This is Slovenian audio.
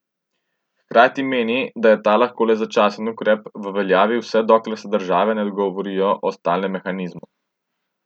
Hkrati meni, da je ta lahko le začasen ukrep, v veljavi vse dokler se države ne dogovorijo o stalnem mehanizmu.